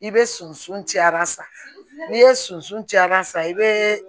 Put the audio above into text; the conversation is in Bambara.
I bɛ soso cayara sa n'i ye sosoran san i bɛ